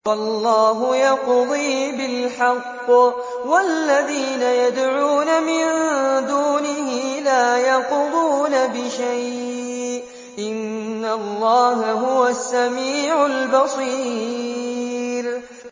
وَاللَّهُ يَقْضِي بِالْحَقِّ ۖ وَالَّذِينَ يَدْعُونَ مِن دُونِهِ لَا يَقْضُونَ بِشَيْءٍ ۗ إِنَّ اللَّهَ هُوَ السَّمِيعُ الْبَصِيرُ